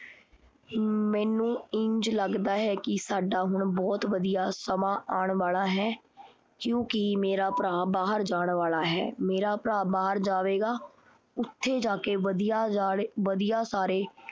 ਮੈਨੂੰ ਇੰਝ ਲੱਗਦਾ ਹੈ ਕੀ ਸਾਡਾ ਹੁਣ ਬਹੁਤ ਵਧੀਆ ਸਮਾਂ ਆਣ ਵਾਲਾ ਹੈ, ਕਿਉਂਕਿ ਮੇਰਾ ਭਰਾ ਬਾਹਰ ਜਾਂ ਵਾਲਾ ਹੈ। ਮੇਰਾ ਭਰਾ ਬਾਹਰ ਜਾਵੇਗਾ, ਓਥੇ ਜਾਕੇ ਵਧੀਆ ਵਧੀਆ ਸਾਰੇ